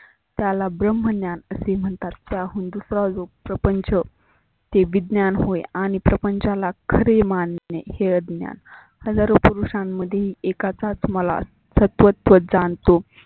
त्याला ब्रम्हज्ञान असे म्हणतात. त्याहून दुसरा प्रपंच ते विज्ञान होत आणि प्रपंचालाच खरे मानत नाही हे यज्ञ. हजारो पुरुषांमध्ये एकाचाच मलाल सत्वत्व जानतो.